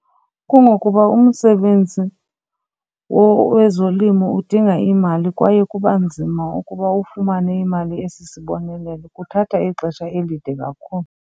Kungokuba umsebenzi wezolimo udinga iimali kwaye kuba nzima ukuba ufumane imali esisibonelelo. Kuthatha ixesha elide kakhulu.